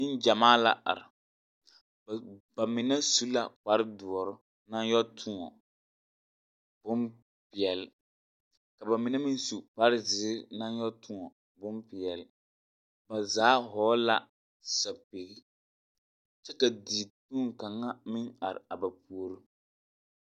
Neŋgyamaa la are. Ba ba mine su la kpare dõͻre naŋ yԑ tõͻ bompeԑle, ka ba mine meŋ kpare zeere naŋ yԑ tõͻ bompeԑle. Ba zaa vͻgele la sapigiri kyԑ ka dikpoŋ kaŋa meŋ are a ba puori.